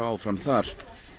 áfram þar